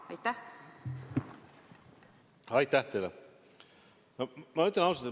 Aitäh teile!